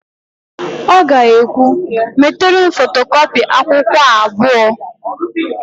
Ọ ga-ekwu, "metere m fotokọpị akwụkwọ a abụọ"!